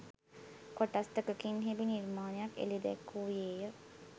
කොටස් දෙකකින් හෙබි නිර්මාණයක් එළි දැක්වූයේ ය